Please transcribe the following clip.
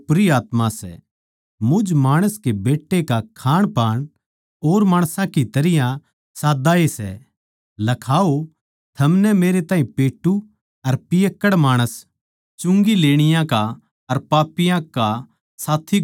मुझ माणस के बेट्टे का खाणपान और माणसां की तरियां साद्दा ए सै लखाओ थमनै मेरे ताहीं पेट्टू अर पियक्कड़ माणस चुंगी लेणिये का अर पापियाँ का साथी घोषित कर दिया